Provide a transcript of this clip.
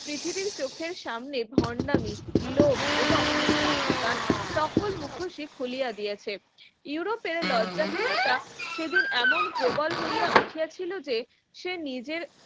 পৃথিবীর চোখের সামনে ভন্ডামি লোভ এবং নিশংসতার সকল মুখোশী খুলিয়া দিয়েছে ইউরোপের লজ্জাহীনতা সেদিন এমন প্রবল হইয়া উঠেছিল যে সে নিজের